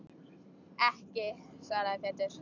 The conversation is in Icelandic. Ekki, svaraði Pétur.